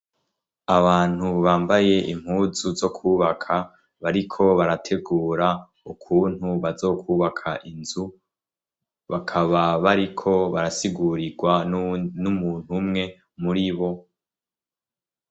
Abantu bambaye impuzu zo kwubaka, bariko barategura ukuntu bazokwubaka inzu, bakaba bariko barasigurirwa n'umuntu umwe muri bo.